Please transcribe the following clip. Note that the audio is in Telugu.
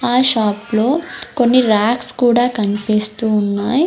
ఆ షాప్ లో కొన్ని రాక్స్ కూడా కన్పిస్తూ ఉన్నాయ్.